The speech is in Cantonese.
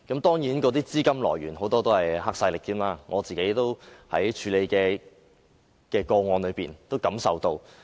當然，那些資金很多甚至來自黑勢力，我在自己處理的個案中也能察覺得到。